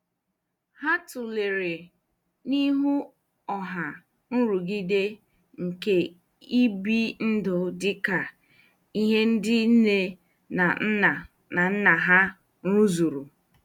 Ha tụlere n'ihu ọha nrụgide nke ibi ndụ dị ka ihe ndị nne na nna na nna ha rụzuru.